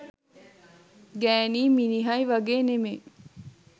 ගෑනියි මිනිහයි වගේ නෙමෙයි